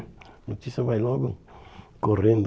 A notícia vai logo correndo.